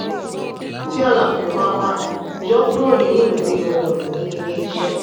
tí àlàfo bá wà yọ kúrò nínú ìwé ohun-ìní ilé-iṣẹ́.